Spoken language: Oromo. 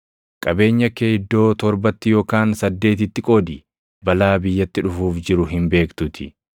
Qabeenya kee iddoo torbatti yookaan saddeetitti qoodi; balaa biyyatti dhufuuf jiru hin beektuutii.